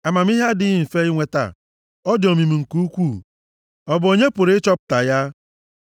Amamihe adịghị mfe inweta, ọ dị omimi nke ukwuu; ọ bụ onye pụrụ ịchọpụta ya?